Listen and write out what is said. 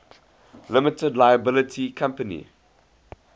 limited liability company